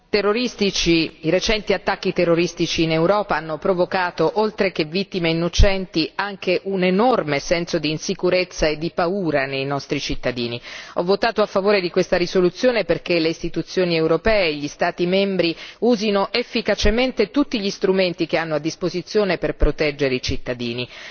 Signor Presidente, onorevoli colleghi, i recenti attacchi terroristici in Europa hanno provocato oltre che vittime innocenti anche un enorme senso d'insicurezza e di paura nei nostri cittadini. Ho votato a favore di questa risoluzione perché le Istituzioni europee e gli Stati membri usino efficacemente tutti gli strumenti che hanno a disposizione per proteggere i cittadini.